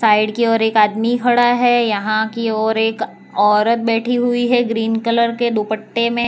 Side की ओर एक आदमी खड़ा है यहां की ओर एक औरत बैठी हुई है ग्रीन कलर के दुपट्टे में।